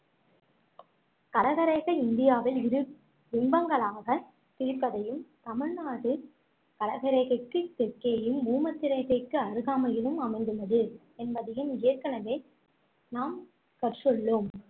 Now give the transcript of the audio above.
கடகரேகை இந்தியாவை இரு பிம்பங்களாகப் பிரிப்பதையும் தமிழ்நாடு கடகரேகைக்கு தெற்கேயும் பூமத்தியரேகைக்கு அருகாமையிலும் அமைந்துள்ளது என்பதையும் ஏற்கனவே நாம் கற்றுள்ளோம்